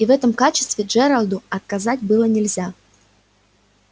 и в этом качестве джералду отказать было нельзя